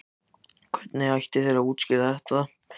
Hvernig ætti ég að útskýra það?